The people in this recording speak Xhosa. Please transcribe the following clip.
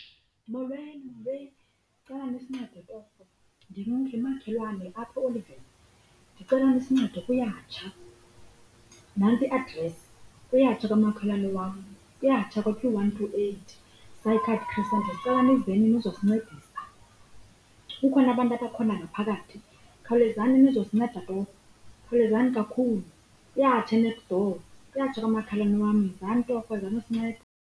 Molweni, molweni. Ndicela nisincede torho. Ndinomakhelwane apha ndicela nisincede kuyatsha. Nantsi i-address, kuyatsha kwamakhelwane wam. Kuyatsha kwa-two one two eight . Sicela nizeni nizosincedisa. Kukhona abantu abasekhona ngaphakathi. Khawulezani nizosinceda torho. Khawulezani kakhulu, kuyatsha e-next door, kuyatsha kwamakhalwane wam, yizani torho, izanosinceda.